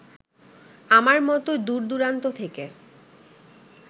আমার মতো দূরদূরান্ত থেকে